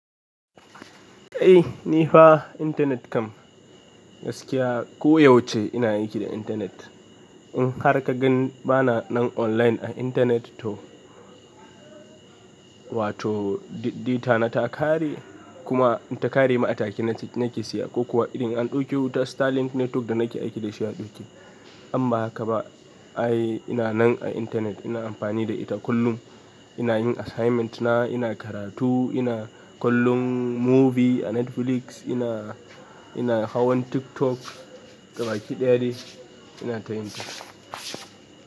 Eh ni fa internet kam. Gaskiya ko yaushe ina aiki da internet. In har ka gan bana nan online a internet to wato data na ta ƙare kuma in ta ƙare ma atake nake siya ko kuwa idan an ɗauki wuta Starlink network da nake aiki da shi ya ɗauki. Amma haka ba ai ina nan a internet ina amfani da ita kullum. Ina yin assignment na, ina karatu, ina kallon movie a Netflix, ina, ina hawan TikTok gabaki ɗaya dai ina koyin ta.